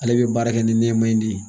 Ale bɛ baara kɛ ni nɛma in de ye